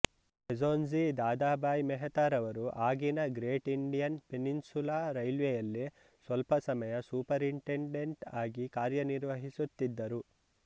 ಬೇಝೋನ್ಜಿ ದಾದಾಭಾಯ್ ಮೆಹ್ತಾ ರವರು ಆಗಿನ Great Indian Peninsula ರೈಲ್ವೆಯಲ್ಲಿ ಸ್ವಲ್ಪ ಸಮಯ ಸೂಪರಿಂಟೆಂಡೆಂಟ್ ಅಗಿ ಕಾರ್ಯ ನಿರ್ವಹಿಸುತ್ತಿದ್ದರು